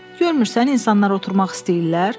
Görmürsən insanlar oturmaq istəyirlər?